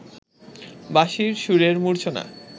বাঁশির সুরের মূর্ছনা